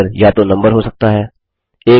यह अक्षर या तो नम्बर हो सकता है